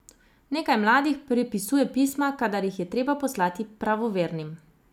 Nekaj mladih prepisuje pisma, kadar jih je treba poslati pravovernim.